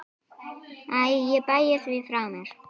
Æ ég bægi því frá mér.